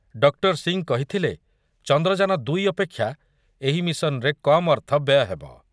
Doctor Singh କହିଥିଲେ ଚନ୍ଦ୍ରଯାନ ଦୁଇ ଅପେକ୍ଷା ଏହି ମିଶନରେ କମ୍ ଅର୍ଥ ବ୍ୟୟ ହେବ ।